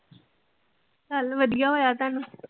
ਚੱਲ ਵਧਿਆ ਹੋਇਆ ਤੁਹਾਨੂੰ